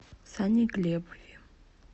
сане глебове